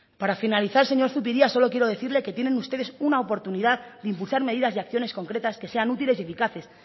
para finalizar señor zupiria solo quiero decirle que tienen ustedes una oportunidad de impulsar medidas y acciones concretas que sean útiles y eficaces